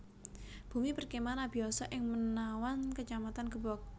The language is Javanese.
Bumi Perkemahan Abiyoso ing Menawan Kacamatan Gebog